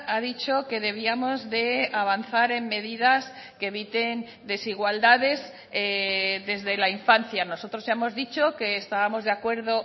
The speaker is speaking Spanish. ha dicho que debíamos de avanzar en medidas que eviten desigualdades desde la infancia nosotros hemos dicho que estábamos de acuerdo